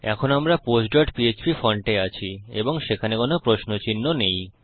এখন আমরা postপিএচপি ফন্টে আছি এবং সেখানে কোনো প্রশ্ন চিহ্ন নেই